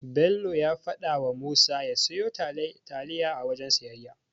Bello ya fadawa Musa ya siyo taliya a wajen siyayya.